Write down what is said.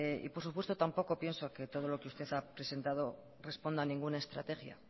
por supuesto tampoco pienso que todo lo que usted ha presentado responda a ninguna estrategia